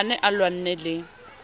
a ne a lwanne le